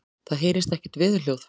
Það heyrist ekkert veðurhljóð.